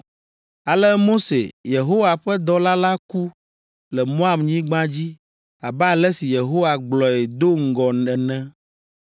Ale Mose, Yehowa ƒe dɔla la ku le Moabnyigba dzi abe ale si Yehowa gblɔe do ŋgɔ ene.